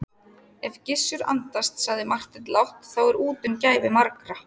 Ef Gizur andast, sagði Marteinn lágt,-þá er úti um gæfu margra.